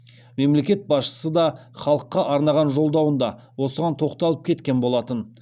мемлекет басшысы да халыққа арнаған жолдауында осыған тоқталып кеткен болатын